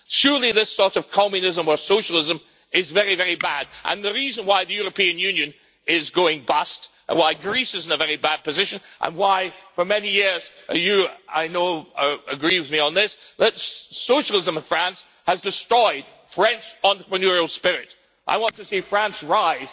Surely this sort of communism or socialism is very, very bad and the reason why the European Union is going bust and why Greece is in a very bad position and why for many years and you, I know, I agree with me on this socialism in France has destroyed the French entrepreneurial spirit. I want to see France rise.